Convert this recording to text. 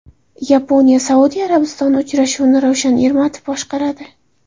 YaponiyaSaudiya Arabistoni uchrashuvini Ravshan Ermatov boshqaradi.